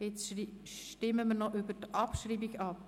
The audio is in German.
Jetzt stimmen wir noch über die Abschreibung ab.